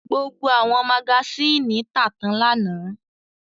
Gbogbo àwọn magasínì tà tán lánàá.